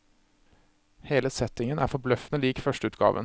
Hele settingen er forbløffende lik førsteutgaven.